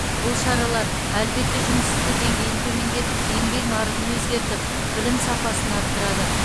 бұл шаралар әлбетте жұмыссыздық деңгейін төмендетіп еңбек нарығын өзгертіп білім сапасын арттырады